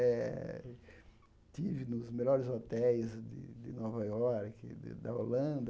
Eh estive nos melhores hotéis de de Nova Iorque, da Holanda.